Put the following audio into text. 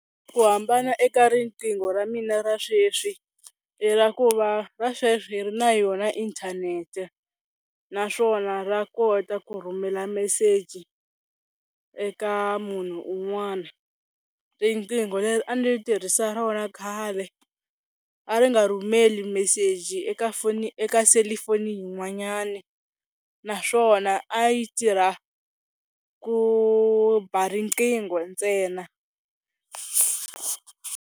Ku hambana eka riqingho ra mina ra sweswi i ra ku va ra sweswi ri na yona inthanete, naswona ra kota ku rhumela meseji eka munhu un'wana. Riqingho leri a ndzi tirhisa rona khale a ri nga rhumeli meseji eka foni eka selifoni yin'wanyani, naswona a yi tirha ku ba riqingho ntsena.